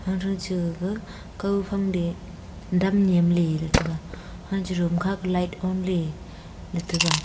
cha gaga kaw phang te dam nyamley ley taga anche room kha ke light on ley ley taga.